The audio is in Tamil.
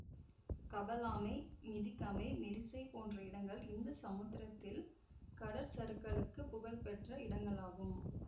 கபலானை மிதிகமை மிரிசை போன்ற இடங்கள் இந்து சமுத்திரத்தில் கடற்சருக்கலுக்குப் புகழ் பெற்ற இடங்களாகும்